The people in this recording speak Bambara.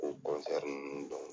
Ko ninnu don